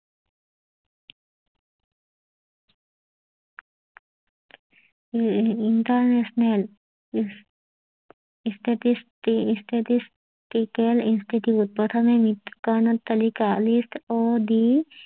international statistical institute প্ৰথমে মৃত কৰণৰ তালিকা লিষ্ট অড